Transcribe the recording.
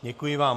Děkuji vám.